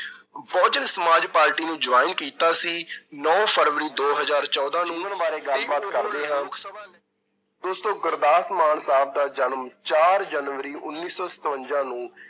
ਬਹੁ ਜਨ ਸਮਾਜ ਪਾਰਟੀ ਨੂੰ join ਕੀਤਾ ਸੀ ਨੋਂ ਫਰਵਰੀ ਦੋ ਹਜ਼ਾਰ ਚੌਦਾਂ ਨੂੰ ਉਹਨਾਂ ਬਾਰੇ ਗੱਲ ਬਾਤ ਕਰਦੇ ਹਾਂ ਦੋਸਤੋ ਗੁਰਦਾਸਮਾਨ ਸਾਹਬ ਦਾ ਜਨਮ ਚਾਰ ਜਨਵਰੀ ਉੱਨੀ ਸੌ ਸਤਵੰਜਾ ਨੂੰ